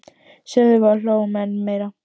sögðum við og hlógum enn meira.